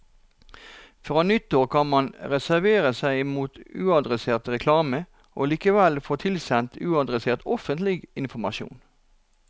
Fra nyttår kan man reservere seg mot uadressert reklame og likevel få tilsendt uadressert offentlig informasjon.